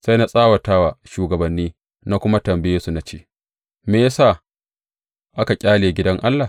Sai na tsawata wa shugabanni na kuma tambaye su na ce, Me ya sa aka ƙyale gidan Allah?